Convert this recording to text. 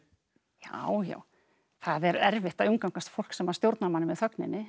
já já það er erfitt að umgangast fólk sem stjórnar manni með þögninni